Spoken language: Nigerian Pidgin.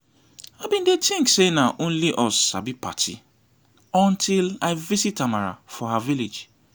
i bin dey think say na only us sabi party untill i visit amara for her village